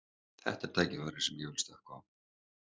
Þetta er tækifæri sem ég vil stökkva á.